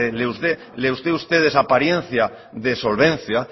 les dé a ustedes apariencia de solvencia